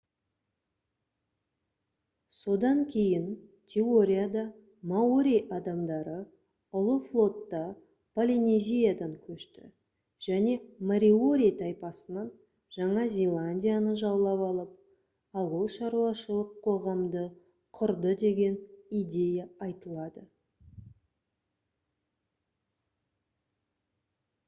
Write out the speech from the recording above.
содан кейін теорияда маори адамдары ұлы флотта полинезиядан көшті және мориори тайпасынан жаңа зеландияны жаулап алып ауылшаруашылық қоғамды құрды деген идея айтылады